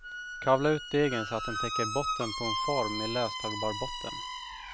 Kavla ut degen så att den täcker botten på en form med löstagbar botten.